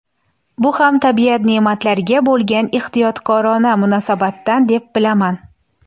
Bu ham tabiat ne’matlariga bo‘lgan ehtiyotkorona munosabatdan deb bilaman.